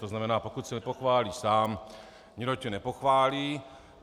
To znamená, pokud se nepochválí sám, nikdo tě nepochválí.